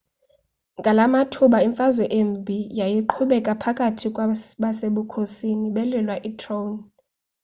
ngalamathuba imfazwe embi yayiqhubeka phakathi kwabasebukhosini belwela itrone